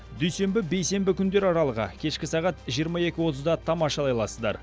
дүйсенбі бейсенбі күндер аралығы кешкі сағат жиырма екі отызда тамашалай аласыздар